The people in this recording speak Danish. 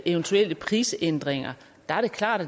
eventuelle prisændringer er det klart